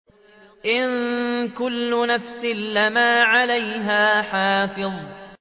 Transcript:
إِن كُلُّ نَفْسٍ لَّمَّا عَلَيْهَا حَافِظٌ